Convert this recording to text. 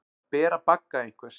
Að bera bagga einhvers